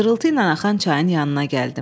Şırıltı ilə axan çayın yanına gəldim.